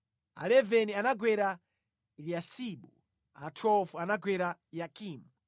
a 11 anagwera Eliyasibu, a 12 anagwera Yakimu,